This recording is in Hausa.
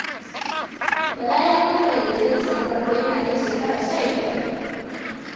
Bala ya kammala digirinsa na farko yana ɗan shekara sha biyar.